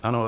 Ano.